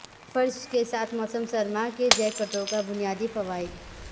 فرش کے ساتھ موسم سرما کے جیکٹوں کا بنیادی فوائد